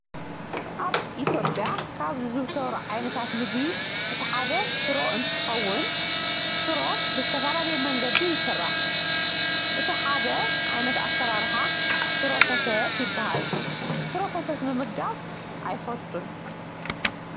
ኣብ ኢትዮጵያ ካብ ዝዝውተሩ ዓይነታት ምግቢ እቲ ሓደ ሽሮ እንትኾውን ሽሮ ብዝተፈላለየ መንገዲ ይስራሕ። እቲ ሓደ ዓይነት አሰራርሓ ሽሮ ፈሰስ ይበሃል። ሽሮ ፈሰስ ምምጋብ አይፈትውን።